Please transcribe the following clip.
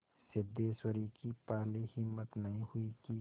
सिद्धेश्वरी की पहले हिम्मत नहीं हुई कि